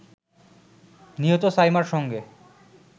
নিহত সাইমার সঙ্গে